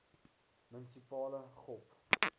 munisipale gop